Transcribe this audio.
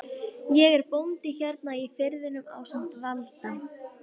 Ég er bóndi hérna í firðinum ásamt Valda